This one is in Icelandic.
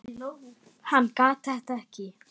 Hann gat þetta ekki.